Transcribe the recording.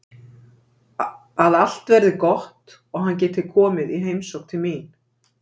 Að allt verði gott og hann geti komið í heimsókn til mín.